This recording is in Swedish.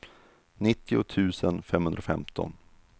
nittio tusen femhundrafemton